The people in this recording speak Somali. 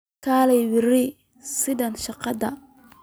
Kaalay berri sidaad sheegtay